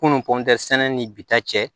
Kunun kɔntɛ sɛnɛ ni bi ta cɛ